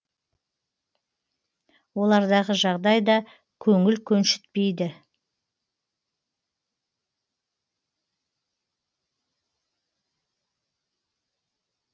олардағы жағдай да көңіл көншітпейді